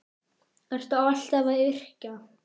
Ertu alltaf að yrkja?